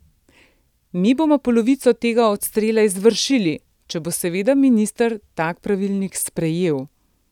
Mi bomo polovico tega odstrela izvršili, če bo seveda minister tak pravilnik sprejel.